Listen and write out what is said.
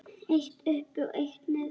Eitt uppi og eitt niðri.